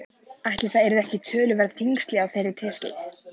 Ætli það yrðu ekki töluverð þyngsli á þeirri teskeið.